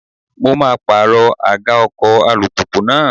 Mo maa pàrọ̀ àga ọkọ̀ alùpùpù náà.